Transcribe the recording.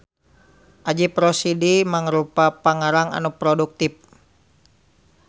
Ajip Rosidi mangrupa pangarang anu produktif.